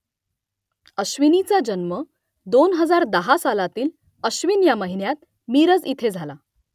अश्विनीचा जन्म दोन हजार दहा सालातील अश्विन या महिन्यात मिरज इथे झाला